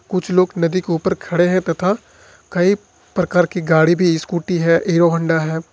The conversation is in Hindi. कुछ लोग नदी के ऊपर खड़े हैं तथा कई प्रकार की गाड़ी भी स्कूटी है हीरो होंडा है।